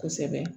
Kosɛbɛ